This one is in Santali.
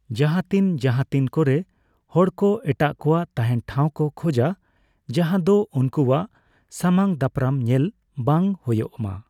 ᱡᱟᱦᱟᱸᱛᱤᱱ ᱡᱟᱦᱟᱸᱛᱤᱱ ᱠᱚᱨᱮ ᱦᱚᱲᱠᱚ ᱮᱴᱟᱜ ᱠᱳᱣᱟᱜ ᱛᱟᱦᱮᱸᱱ ᱴᱷᱟᱣ ᱠᱚ ᱠᱷᱚᱡᱟ ᱡᱟᱦᱟᱸᱫᱚ ᱩᱱᱠᱩᱣᱟᱜ ᱥᱟᱢᱟᱝ ᱫᱟᱯᱨᱟᱢ ᱧᱮᱞ ᱵᱟᱝ ᱦᱳᱭᱳᱜ ᱢᱟ ᱾